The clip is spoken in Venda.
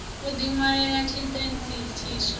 o di wanela tshitentsi tshiswa